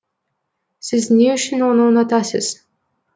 сіз не үшін оны ұнатасыз